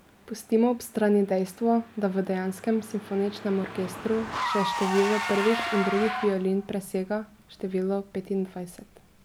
Pustimo ob strani dejstvo, da v dejanskem simfoničnem orkestru že število prvih in drugih violin presega številko petindvajset.